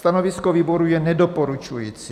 Stanovisko výboru je nedoporučující.